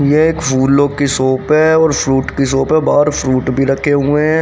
ये एक फूलों की शॉप है और फ्रूट की शॉप है बाहर फ्रूट भी रखे हुए हैं।